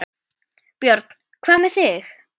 Björn: Hvað með þig?